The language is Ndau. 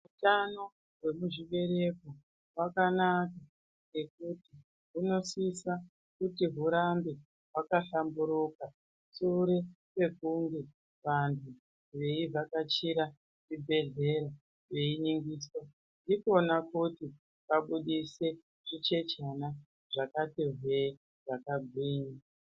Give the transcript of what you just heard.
Hutano hwemuzvibereko hwakanaka ngekuti hunosisa kuti hurambe hwakahlamburuka shure kwekunge vantu veivhakachira zvibhedhlera veiningiswa. Ndikona kuti vabusise zvichechana zvakati hwee zvakanginya.